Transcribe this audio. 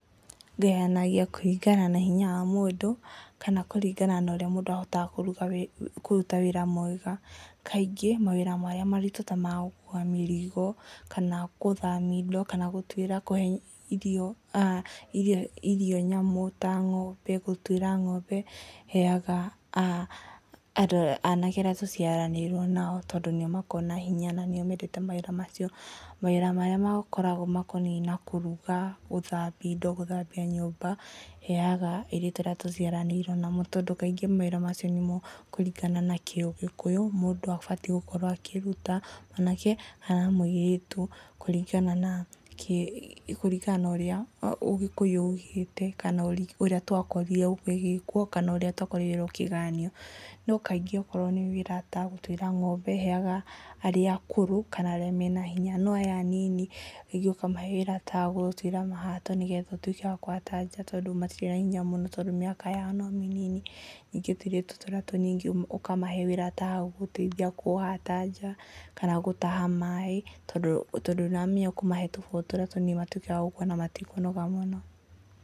Ngayanagia kũringana na hinya wa mũndũ kana kũringana na ũrĩa mũndũ ahotaga kũruta wĩra mwega. Kaingĩ mawĩra marĩa maritũ ta ma gũkua mĩrigo kana gũthamia indo kana gũtuĩra kũhe irio nyamũ ta ng'ombe gũtuĩra ng'ombe heaga anake arĩa tũciaranĩirwo nao tondũ nĩo makoragwo na hinya na nĩo mendete mawĩra macio. Mawĩra marĩa makoragwo makoniĩ na kũruga. gũthambia indo, gũthambia nyũmba heaga airĩtũ arĩa tũciaranĩirwo nao tondũ kaingĩ mawĩra macio nĩmo kũringana na kĩ ũgĩkũyũ, mũndũ abatiĩ gũkorwo akĩruta. Mwanake kana mũirĩtu kũringana na ũrĩa ũgĩkũyu uugĩte kana ũrĩa twakorire gũgĩgĩkwo kana ũrĩa twakorire gũkĩgayanio. No kaingĩ akorwo nĩ wĩra ta gũtuĩra ng'ombe heaga arĩa akũrũ kana arĩa mena hinya no aya anini rĩgĩ ũkamahe wĩra ta wagũgũtuĩra mahato nĩgetha ũtuĩke wa kũhata nja tondũ matirĩ na hinya mũno tondũ mĩaka yao no mĩnini. Ningĩ tũirĩtu tũrĩa tũnini ũkamahe wĩra ta wa gũgũteithia kũhata nja kana gũtaha maĩ, tondũ nĩ wamenya ũgũtũhe tũbũyu tũrĩa tũnini matuĩke a gũkuwa na matikũnoga mũno.